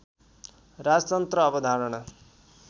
राजतन्त्र अवधारणा